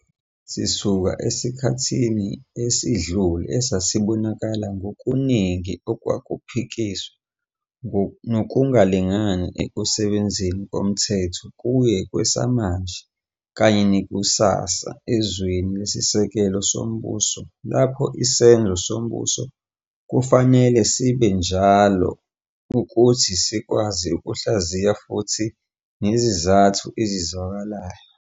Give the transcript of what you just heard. Sisuka esikhathini esidlule esasibonakala ngokuningi okwakuphikiswa nokungalingani ekusebenzeni komthetho kuye kwesamanje kanye nekusasa ezweni lesisekelo sombuso lapho isenzo sombuso kufanele sibe sinjalo ukuthi sikwazi ukuhlaziya futhi sibe nezizathu ezizwakalayo.